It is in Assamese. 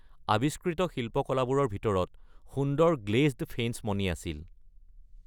আৱিষ্কৃত শিল্পকলাবোৰৰ ভিতৰত সুন্দৰ গ্লেজড ফেইঞ্চ মণি আছিল।